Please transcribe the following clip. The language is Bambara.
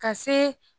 Ka se